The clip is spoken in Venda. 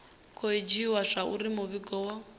khou dzhiiwa zwauri muvhigo wo